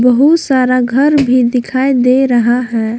बहुत सारा घर भी दिखाई दे रहा है।